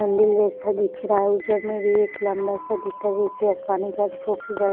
मंदिर जैसा दिख रहा हैइधर में भी एक लंबा सा दिखाई पानी का--